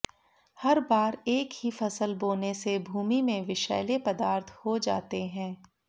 हर बार एक ही फसल बोने से भूमि में विषैले पदार्थ हो जाते हैं